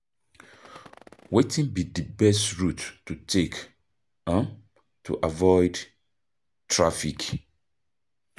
Wetin be di best route to take um to avoid traffic?